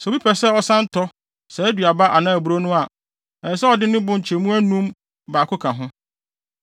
Sɛ obi pɛ sɛ ɔsan tɔ saa aduaba anaa aburow no a, ɛsɛ sɛ ɔde ne bo nkyɛmu anum mu baako ka ho.